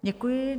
Děkuji.